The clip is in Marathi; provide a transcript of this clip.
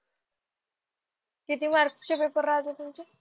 किती मार्क्स चे पेपर राहतात तुमचे?